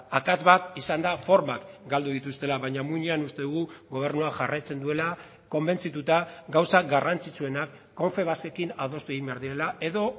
akats bat izan da formak galdu dituztela baina muinean uste dugu gobernua jarraitzen duela konbentzituta gauza garrantzitsuenak confebaskekin adostu egin behar direla edo